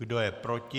Kdo je proti?